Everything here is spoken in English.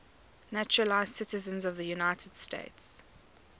naturalized citizens of the united states